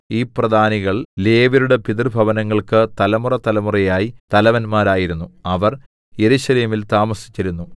ഈ പ്രധാനികൾ ലേവ്യരുടെ പിതൃഭവനങ്ങൾക്കു തലമുറതലമുറയായി തലവന്മാരായിരുന്നു അവർ യെരൂശലേമിൽ താമസിച്ചിരുന്നു